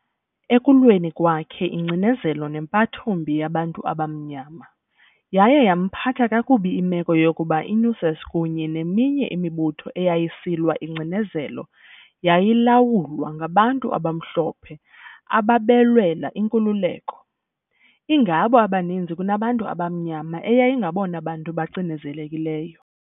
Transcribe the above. Ekulweni kwakhe ingcinezelo nempatho mbi yabantu abamnyama, yaye yamphatha kakubi imeko yokuba iNUSAS kunye neminye imibutho eyayisilwa ingcinezelo yayilawulwa ngabantu abamhlophe ababelwela inkululeko, ingabo abaninzi kunabantu abamnyama, eyayingabona bantu bacinezelekileyo.